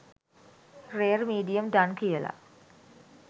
rare medium done කියල